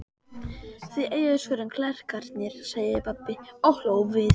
Þið eigið svörin, klerkarnir, sagði pabbi og hló við.